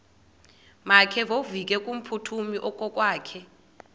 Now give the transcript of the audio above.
makevovike kumphuthumi okokwakhe